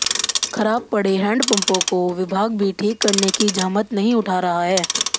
खराब पड़े हैडपंपों को विभाग भी ठीक करने की जहमत नहीं उठा रहा है